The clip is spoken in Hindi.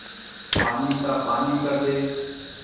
पानी का पानी कर दे